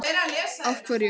Páll: Af hverju?